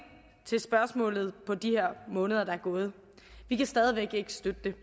til spørgsmålet på de måneder der er gået vi kan stadig væk ikke støtte det